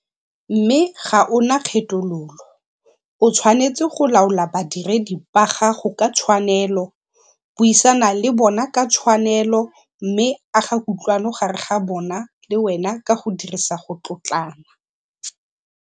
Mme ga o na kgethololo. O tshwanetse go laola badiredi ba gago ka tshwanelo, buisana le bona ka tshwanelo mme aga kutlwano gare ga bona le wena ka go dirisa go tlotlana.